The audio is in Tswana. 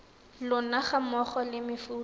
lona ga mmogo le mefuta